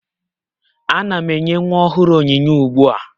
Ana m enye nwa ọhụrụ onyinye ugbu a